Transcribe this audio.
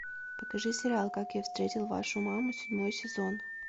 покажи сериал как я встретил вашу маму седьмой сезон